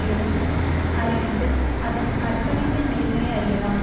எனும் அறிவிப்பில் அதன் அர்ப்பணிப்பின் நேர்மையை அறியலாம்